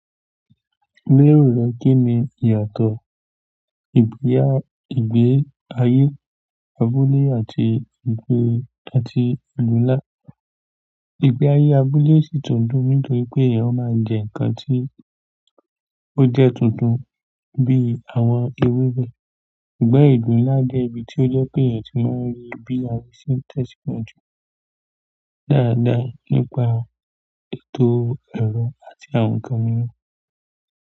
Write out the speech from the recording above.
Lérò rẹ kín ni ìyàtọ̀ ìgbé ayé abúlé àti àti ìlú ńlá? Ìgbé ayé abúlé sì tún dùn nítorí pé ó máa ń jẹ nǹkan tí ó jẹ́ tuntun bí i àwọn ewébẹ̀. Ṣùgbọ́n ìlú ńlá jẹ́ ibi tí ó jọ pé èèyàn ti máa ń rí bí àwọn sì ń tẹ̀síwájú dáadáa nípa ètò ẹ̀rọ àti àwọn ǹkan mìíràn.